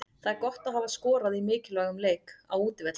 Það er gott að hafa skorað í mikilvægum leik, á útivelli.